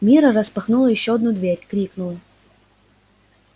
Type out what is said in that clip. мирра распахнула ещё одну дверь крикнула